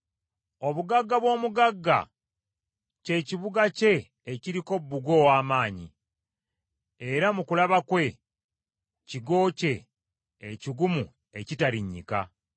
Obugagga bw’omugagga, kye kibuga kye ekiriko bbugwe ow’amaanyi, era mu kulaba kwe, kigo kye ekigumu ekitarinnyika.